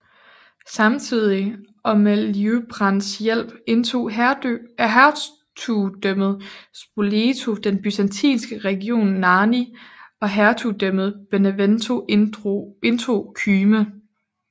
Samtidig og med Liutprands hjælp indtog hertugdømmet Spoleto den byzantinske region Narni og hertugdømmet Benevento indtog Kyme